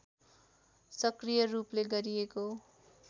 सक्रिय रूपले गरिएको